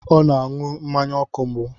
Ọ na-aṅụ mmanya ọkụ mbụ.